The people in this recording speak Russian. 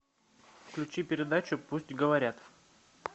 включи передачу пусть говорят